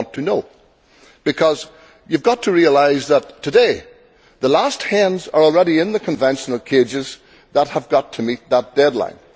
We want to know, because you have got to realise that, today, the last hens are already in the conventional cages that have got to meet that deadline.